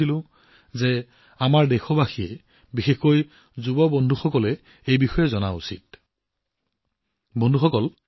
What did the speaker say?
মই অনুভৱ কৰিছিলোঁ যে আমাৰ দেশবাসী আৰু বিশেষকৈ আমাৰ ডেকা বন্ধুসকলে এই বিষয়ে নিশ্চয় জানে